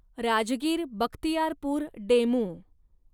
Rajgir Bakhtiyarpur DEMU